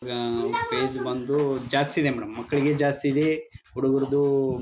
ಆಹ್ಹ್ fees ಬಂದು ಜಾಸ್ತಿ ಇದೆ ಮೇಡಮ್ ಮಕ್ಕಳಿಗೆ ಜಾಸ್ತಿ ಇದೆ ಹುಡುಗರದು. --